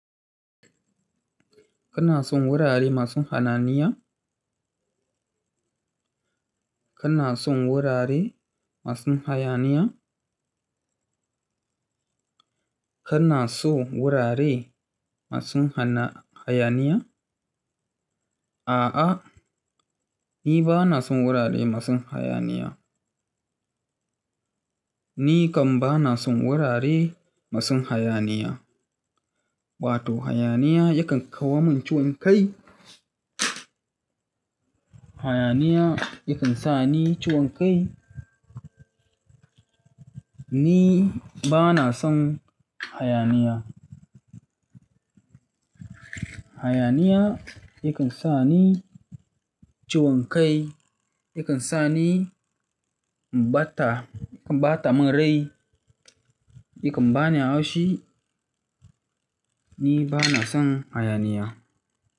Kana son wurare masu hayaniya? Kana son wurare masu hayaniya? Kana son wurare masu hayaniya? A'a, ni ba na son wurare masu hayaniya. Ni kam ba na son wurare masu hayaniya. Wato hayaniya yakan kawo min ciwon kai. Hayaniya yakan sa ni ciwon kai. Ni ba na son hayaniya. Hayaniya yakan sa ni ciwon kai, yakan sa ni ɓata, yakan ɓata mun rai, yakan bani haushi. Ni ba na son hayaniya.